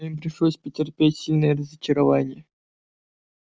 но им пришлось потерпеть сильное разочарование